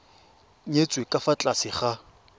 nyetswe ka fa tlase ga